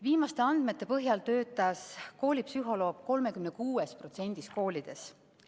Viimaste andmete põhjal töötas koolipsühholoog 36%‑s koolidest.